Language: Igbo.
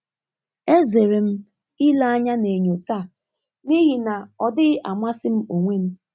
E zere m ile anya na enyo taa n'ihi na ọ dịghị amasị m onwe m.